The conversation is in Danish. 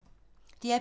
DR P2